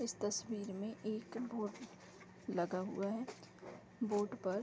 इस तस्वीर में एक बोर्ड लगा हुआ है बोर्ड पर --